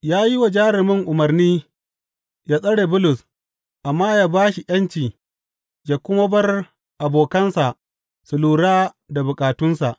Ya yi wa jarumin umarni yă tsare Bulus amma yă ba shi ’yanci yă kuma bar abokansa su lura da bukatunsa.